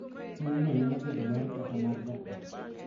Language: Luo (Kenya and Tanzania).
Puonjno nyalo bedo mari kata mar ja ot.